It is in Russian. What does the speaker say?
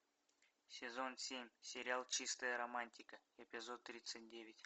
сезон семь сериал чистая романтика эпизод тридцать девять